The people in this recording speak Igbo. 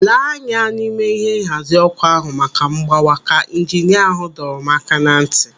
"Lee anya n'ime ihe nhazi ọkụ ahụ maka mgbawa!" Ka ijinia ahụ dọrọ m aka na ntị.